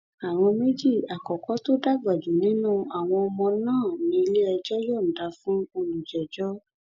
àwọn méjì àkọkọ tó dàgbà jù nínú àwọn ọmọ náà níléẹjọ yọǹda fún olùjẹjọ